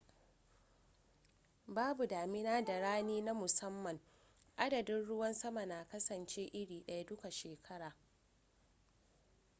babu damina da rani na musamman adadin ruwan sama na kasance iri daya duka shekara